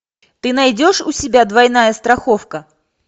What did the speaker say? ты найдешь у себя двойная страховка